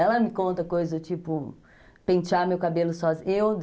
Ela me conta coisas do tipo, pentear meu cabelo sozinha.